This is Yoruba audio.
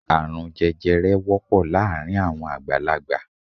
Árùn jẹjẹrẹ wọ́pọ̀ láàárín àwọn àgbàlagbà